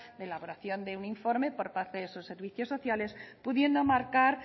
de elaboración de un informe por parte de esos servicios sociales pudiendo marcar